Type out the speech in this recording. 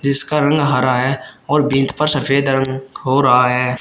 इसका रंग हरा है और पर सफेद रंग हो रहा है।